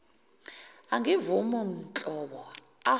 angivumi nhlobo a